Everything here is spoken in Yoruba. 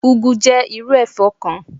úgu jẹ́ irú ẹ̀fọ́ kan.